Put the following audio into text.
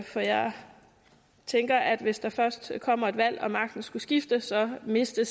for jeg tænker at hvis der først kommer et valg og magten skulle skifte så mister